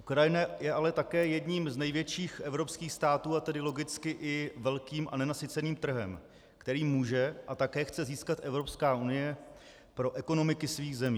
Ukrajina je ale také jedním z největších evropských států, a tedy logicky i velkým a nenasyceným trhem, který může a také chce získat Evropská unie pro ekonomiky svých zemí.